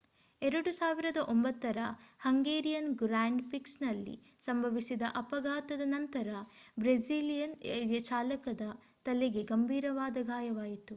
2009 ರ Hungarian grand ಪ್ರಿಕ್ಸ್‌ನಲ್ಲಿ ಸಂಭವಿಸಿದ ಅಪಘಾತದ ನಂತರ ಬ್ರೆಜಿಲಿಯನ್ ಚಾಲಕನ ತಲೆಗೆ ಗಂಭೀರವಾದ ಗಾಯವಾಯಿತು